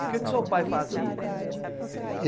E o que o seu pai fazia?